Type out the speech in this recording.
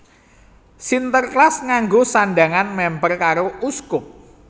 Sinterklas nganggo sandhangan mèmper karo uskup